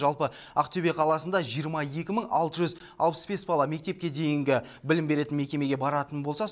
жалпы ақтөбе қаласында жиырма екі мың алты жүз алпыс бес бала мектепке дейінгі білім беретін мекемеге баратын болса